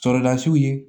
Sɔrɔlasiw ye